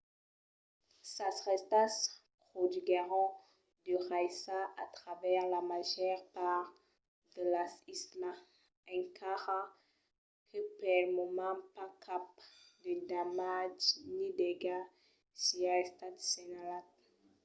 sas rèstas produguèron de raissas a travèrs la màger part de las islas encara que pel moment pas cap de damatge ni d'aigat siá estat senhalat